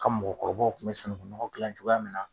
Ka mɔgɔkɔrɔbaw tun bɛ sununkun nɔgɔ dilan cogoya min na